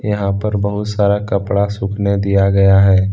यहां पर बहुत सारा कपड़ा सूखने दिया गया है।